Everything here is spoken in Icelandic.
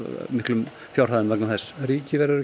miklum fjármunum vegna þess ríkið verður